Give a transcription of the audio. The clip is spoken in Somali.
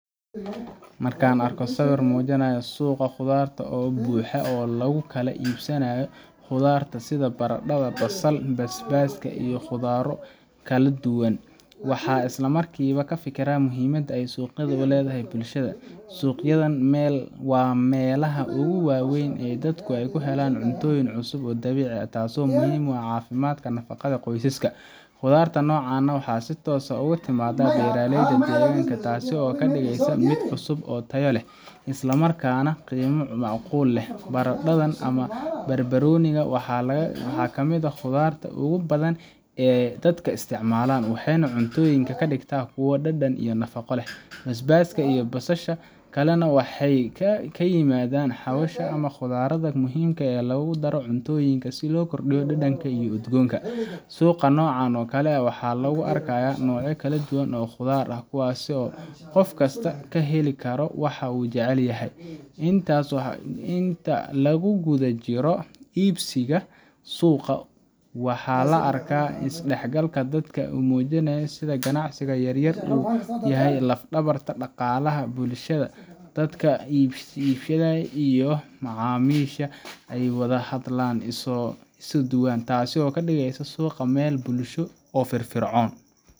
Marka aan arko sawir muujinaya suuqa khudradda oo buuxa oo lagu kala iibsado khudaarta sida baradhada, basal, basbaaska iyo khudrado kale, waxaan isla markiiba ka fikiraa muhiimadda ay suuqaasi u leedahay bulshada. Suuqyadan waa meelaha ugu waaweyn ee ay dadku ka helaan cuntooyin cusub oo dabiici ah, taas oo muhiim u ah caafimaadka nafaqada qoysaska. Khudaarta noocan ah ayaa si toos ah uga timaadda beeralayda deegaanka, taas oo ka dhigaysa mid cusub, tayo leh, isla markaana qiimo macquul ah leh. Baradhadan ama barbaarooniga waa mid kamid ah khudaarta ugu badan ee dadka isticmaalaan, waxayna cuntooyinka ka dhigtaa kuwo dhadhan iyo nafaqo leh. basbaaska iyo Basalka kalena waxay ka mid yihiin xawaashka iyo khudradda muhiimka ah ee lagu daro cuntooyinka si loo kordhiyo dhadhanka iyo udgoonka. Suuqa noocan oo kale ah waxaa lagu arkayaa noocyo kala duwan oo khudaar ah, kuwaas oo qof kasta ka heli karo waxa uu jecel yahay. Inta lagu guda jiro iibsiga suuqa, waxaa la arkaa is dhexgalka dadka oo muujinaya sida ganacsiga yaryar uu u yahay laf-dhabarta dhaqaalaha bulshada. Dadka iibiyayaasha iyo macaamiisha ayaa wada hadla, isu soo dhowaan, taas oo ka dhigaysa suuqa meel bulsho oo firfircoon.